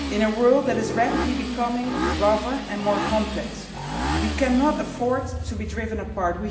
In a world that is rapidly becoming rougher and more complex, we cannot afford to be driven apart.